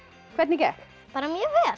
hvernig gekk bara mjög vel